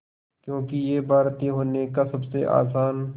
क्योंकि ये भारतीय होने का सबसे आसान